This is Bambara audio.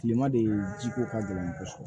Kilema de ji ko ka gɛlɛ kosɛbɛ